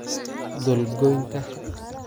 Dhul goynta